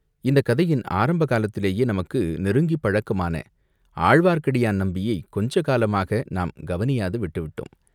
இந்தக் கதையின் ஆரம்ப காலத்திலேயே நமக்கு நெருங்கிப் பழக்கமான ஆழ்வார்க்கடியான் நம்பியைக் கொஞ்ச காலமாக நாம் கவனியாது விட்டு விட்டோம்.